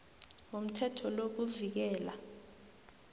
womthetho lo kuvikela